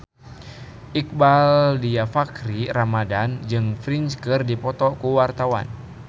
Iqbaal Dhiafakhri Ramadhan jeung Prince keur dipoto ku wartawan